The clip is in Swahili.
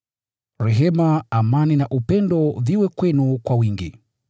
Rehema, amani na upendo viwe kwenu kwa wingi.